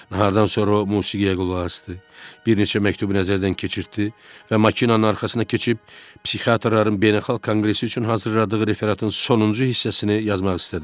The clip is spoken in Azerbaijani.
Nahardan sonra o musiqiyə qulaq asdı, bir neçə məktubu nəzərdən keçirtdi və maşının arxasına keçib psixiatrların beynəlxalq konqresi üçün hazırladığı referatın sonuncu hissəsini yazmaq istədi.